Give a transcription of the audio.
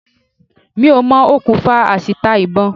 Mi ò mọ okùnfà àṣìta ìbọn.